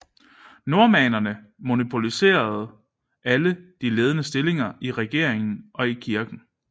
Normannerne monopoliserede alle de ledende stillinger i regeringen og i kirken